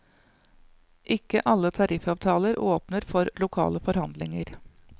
Ikke alle tariffavtaler åpner for lokale forhandlinger.